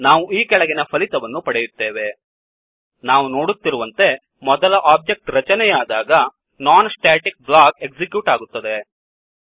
ನಾವು ಈ ಕೆಳಗಿನ ಫಲಿತವನ್ನು ಪಡೆಯುತ್ತೇವೆ ನಾವು ನೋಡುತ್ತಿರುವಂತೆ ಮೊದಲ ಒಬ್ಜೆಕ್ಟ್ ರಚನೆಯಾದಾಗ non ಸ್ಟಾಟಿಕ್ blockನಾನ್ ಸ್ಟ್ಯಾಟಿಕ್ ಬ್ಲಾಕ್ ಎಕ್ಸಿಕ್ಯೂಟ್ ಆಗುತ್ತದೆ